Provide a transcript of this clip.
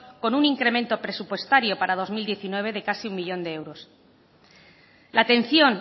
con un incremento presupuestaria para dos mil diecinueve de casi uno millón de euros la atención